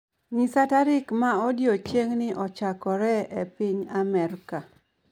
Nyisa tarik ma odiechieng'ni ochakoree e piny Amerka.